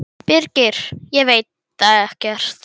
Birgir: Ég veit það ekkert.